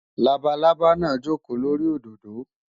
Labalábá náà jókòó lórí òdòdó.